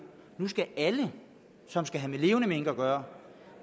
skal alle som skal have med levende mink at gøre